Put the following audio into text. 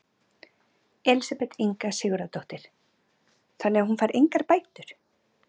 Elísabet Inga Sigurðardóttir: Þannig að hún fær engar bætur?